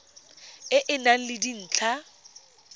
e e nang le dintlha